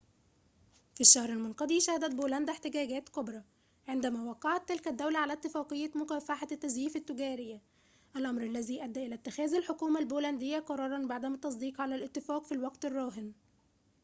في الشهر المنقضي شهدت بولندا احتجاجات كبرى عندما وقعت تلك الدولة على اتفاقية مكافحة التزييف التجارية الأمر الذي أدى إلى اتخاذ الحكومة البولندية قراراً بعدم التصديق على الاتفاق في الوقت الراهن